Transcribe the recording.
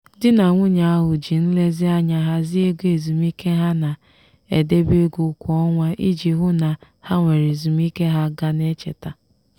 di na nwunye ahụ ji nlezianya hazie ego ezumike ha na-edebe ego kwa ọnwa iji hụ na ha nwere ezumike ha ga na-cheta.